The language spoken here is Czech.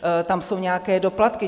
Tam jsou nějaké doplatky.